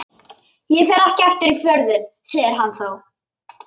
Ég fer ekki aftur í Fjörðinn, segir hann þá.